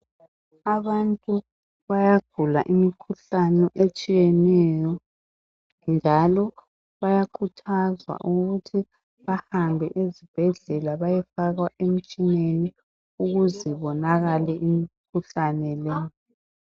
abantu bayagula imikhuhlane etshiyeneyo njalo bayakhuthazwa ukuthi bahambe ezibhedlela bayefakwa emtshineni ukuze ibonakale imkhuhlane le